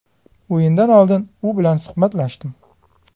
O‘yindan oldin u bilan suhbatlashdim.